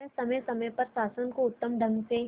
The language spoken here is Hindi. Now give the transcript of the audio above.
वह समय समय पर शासन को उत्तम ढंग से